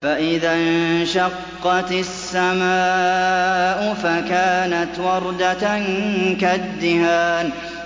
فَإِذَا انشَقَّتِ السَّمَاءُ فَكَانَتْ وَرْدَةً كَالدِّهَانِ